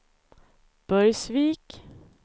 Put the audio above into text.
Burgsvik